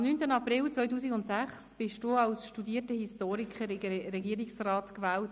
Am 9. April 2006 wurdest du, Hans-Jürg, als studierter Historiker in den Regierungsrat gewählt.